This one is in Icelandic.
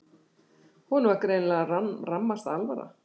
Honum var greinilega rammasta alvara.